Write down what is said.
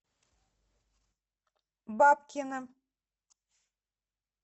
бабкина